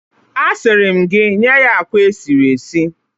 A siri m gi “Nye ya akwa esiri esi"